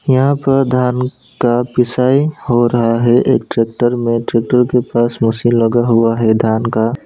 यहां प धान का पिसाई हो रहा है एक ट्रैक्टर में ट्रैक्टर के पास मशीन लगा हुआ है धान का।